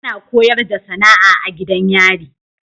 Ana koyarda SAnaa a gidan yari